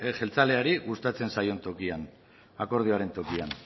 jeltzaleari gustatzen zaion tokian akordioan tokian